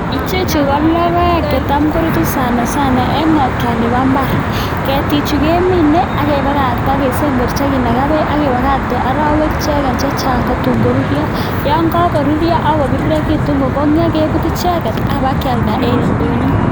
Ichechu ko logoek chetam korutu sana sana en ng'otwet ab mbaar, ketichu kemine akebakakta kesemberchi ak kinaga beek akibakakte orowek ichegen chechang' tatun koruryo, yon kakoruryo akobirirekitun kokong'yo kebut icheket akebakyalda en ndonyo.